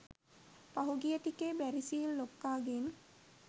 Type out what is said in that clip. පහුගිය ටිකේ බැරිසිල් ලොක්කා ගෙන්